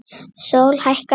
Sól hækkar á lofti.